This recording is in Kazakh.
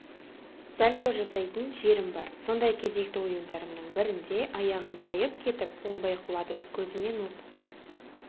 сальто жасайтын жерім бар сондай кезекті ойындарымның бірінде аяғым тайып кетіп оңбай құладым көзімнен от